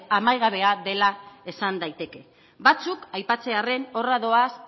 amaigabea dela esan daiteke batzuk aipatzearren horra doaz